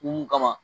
Mun kama